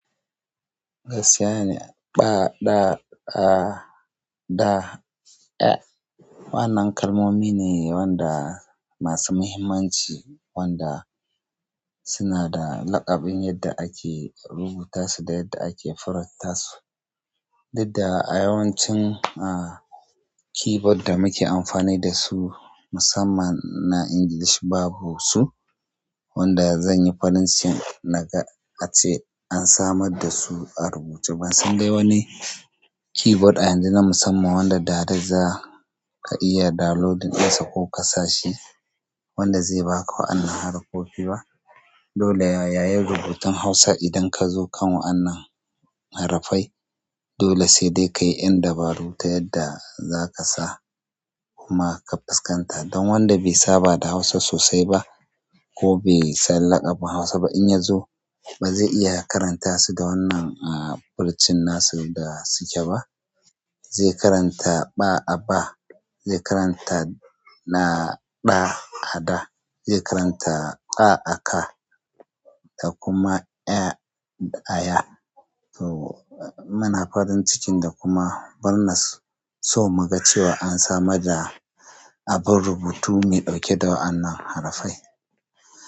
Gaskiya ne, ɓa, ɗa, ɗa, da, ƴa. Wannan kalmomi ne wanda masu muhimmanci wanda suna da laƙabin yadda ake rubuta su da yadda ake furatta su. Didda a yawancin, ah, keyboard da muke amfani da su musamman na English babu su. Wanda zan yi farin cikin na ga ace an samar da su a rubuce ba. Sun dai wani keyboard a yanzu na musamman wanda da dare za ka iya downloading ɗinsa ko ka sa shi wanda zai ba ka wannan harofofi ba. Dole yayi rubutun Hausa idan ka zo kan wannan harafai. Dole sai dai ka yi ƴan dabaru ta yadda za ka sa kuma ka fuskanta. Dan wanda bai saba da Hausa sosai ba, ko bai san laƙabin Hausa ba, bazai iya ya karantasu da wannan furucin nasu da suke ba zai karanta ɓa a ba, zai karanta na ɗa a da, zai karanta ƙa a ka da kuma ƴa a ya. To muna farin cikin da kuma barnar so mu ga cewa an samar da abun rubutu mai ɗauke da wannan harafai.